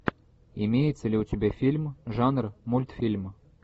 имеется ли у тебя фильм жанр мультфильм